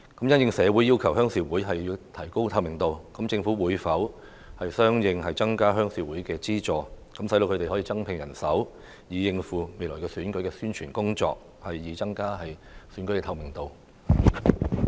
因應社會要求鄉事會提高透明度，政府會否相應增加鄉事會的資助，讓他們可以增聘人手應付未來選舉的宣傳工作，以增加選舉的透明度？